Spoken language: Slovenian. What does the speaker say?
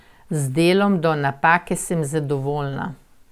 Z delom do napake sem zadovoljna.